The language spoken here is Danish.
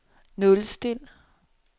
nulstil